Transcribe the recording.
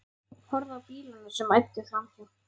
Horfði á bílana sem æddu framhjá.